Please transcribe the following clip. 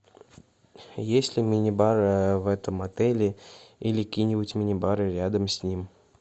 есть ли мини бар в этом отеле или какие нибудь мини бары рядом с ним